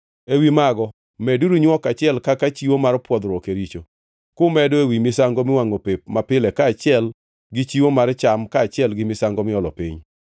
Ewi mago meduru nywok achiel kaka chiwo mar pwodhruok e richo, kumedo ewi misango miwangʼo pep mapile kaachiel gi chiwo mar cham kaachiel gi misango miolo piny.